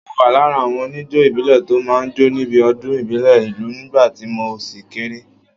Mo wà lára àwọn oníjó ìbílẹ̀ tó máa ń jó níbi ọdún ìbílẹ̀ ìlú nígbà tí mo ṣì kéré